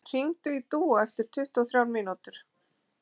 Gunnröður, hringdu í Dúa eftir tuttugu og þrjár mínútur.